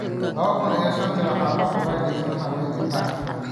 Laba kuun iyo shantii waxaa la furay dhismaha Wynn Park.